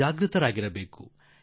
ಎಚ್ಚರದಿಂದ ಇರಬೇಕಾಗಿದೆ